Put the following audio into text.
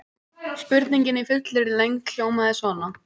Spurningin í fullri lengd hljómaði svona: